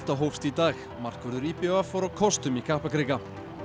hófst í dag markvörður í b v fór á kostum í Kaplakrika